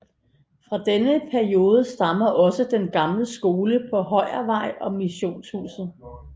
Fra denne periode stammer også den gamle skole på Højervej og missionshuset